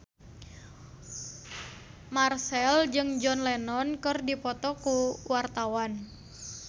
Marchell jeung John Lennon keur dipoto ku wartawan